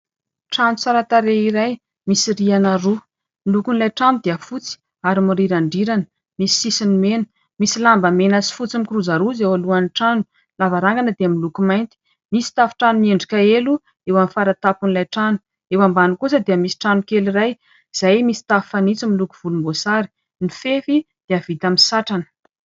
Trano tsaratarehy misy rihana roa, ny lokon'ilay trano dia fotsy ary miriran-drirana misy sisiny mena, misy lamba mena sy fotsy mikirozaroza roa izay eo alohan'ny trano, ny lavarangana dia miloko mainty misy tafon-trano, miendrika elo eo amin'ny faratampon'ilay trano, eo ambany kosa dia misy trano kely iray izay misy tafo fanitso miloko volomboasary, ny fefy dia vita amin'ny satrana.